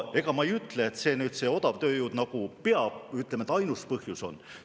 Ega ma ei ütle, et see odavtööjõud ainus põhjus on.